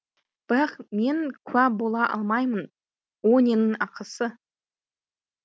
бірақ мен куә бола алмаймын о ненің ақысы